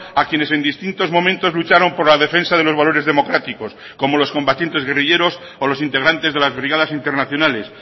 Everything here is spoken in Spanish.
a quienes en distintos momentos lucharon por la defensa de los valores democráticos como los combatientes guerrilleros o los integrantes de las brigadas internacionales